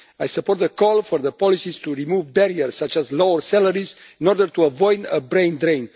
I support the call for the policies to remove barriers such as low salaries in order to avoid a brain drain.